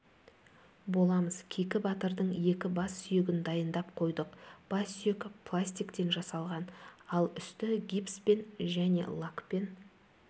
боламыз кейкі батырдың екі бассүйегін дайындап қойдық бассүйек пластиктен жасалған ал үсті гипспен және лакпен